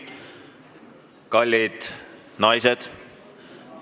Kallid naised!